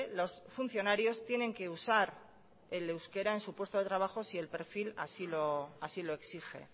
los funcionarios tienen que usar el euskera en su puesto de trabajo si el perfil así lo exige